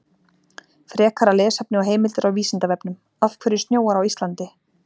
Frekara lesefni og heimildir á Vísindavefnum: Af hverju snjóar á Íslandi?